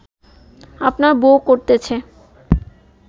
আপনার বউ করতেছে